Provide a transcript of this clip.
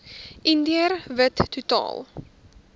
indiër wit totaal